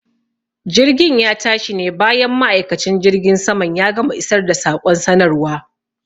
Jirgin ya tashi ne bayan ma'aikacin jirgin saman ya gama isar da saƙon sanarwa.